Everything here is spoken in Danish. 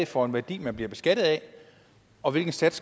for en værdi man bliver beskattet af og hvilken sats